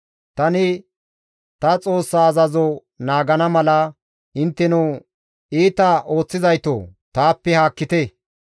Tani ta Xoossaa azazo naagana mala intteno iita ooththizaytoo! Taappe haakkite!